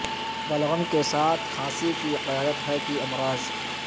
بلغم کے ساتھ کھانسی کی قیادت ہے کہ امراض